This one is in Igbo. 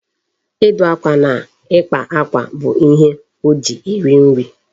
Ịdụ akwa na ịkpa akwa bụ ihe o ji eri nri.